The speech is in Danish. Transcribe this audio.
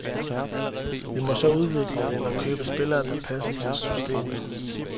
Vi må så udvikle eller købe spillere, der passer til systemet.